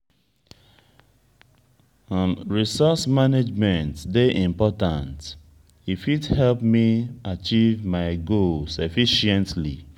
resource management dey important; e fit help me achieve my goals efficiently.